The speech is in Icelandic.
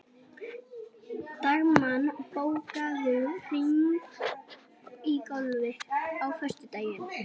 Dagmann, bókaðu hring í golf á föstudaginn.